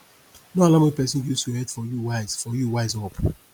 no allow make persin use your head for you wise for you wise up